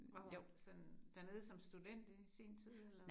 Var hun sådan dernede som student i sin tid eller?